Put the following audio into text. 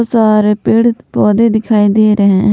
सारे पेड़ पौधे दिखाई दे रहे हैं।